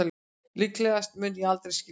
Líklegast mun ég aldrei skilja það